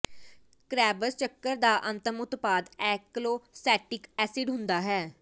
Krebs ਚੱਕਰ ਦਾ ਅੰਤਮ ਉਤਪਾਦ ਆਕਲੋਸੈਟਿਕ ਐਸਿਡ ਹੁੰਦਾ ਹੈ